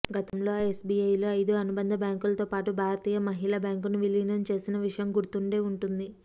గతంలో ఎస్ బీఐలో ఐదు అనుబంధ బ్యాంకులతోపాటు భారతీయ మహిళా బ్యాంకును విలీనం చేసిన విషయం గుర్తుండే ఉంటుంది